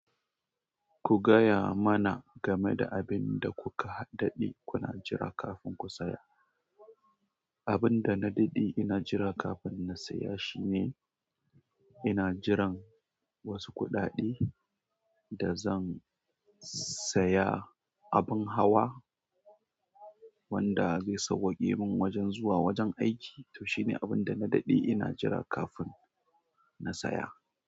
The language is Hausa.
Ku gaya mana game da abin da kuka dadde kuna jira kafin ku saya. Abin da na ɗaɗɗe ina jira kafin na saya shine ina jiran wasu kuɗaɗe da zan saya abin hawa wanda zai sauwaƙe min zuwa wajen aiki. To shi ne abin da na ɗaɗɗe ina jira kafin na saya.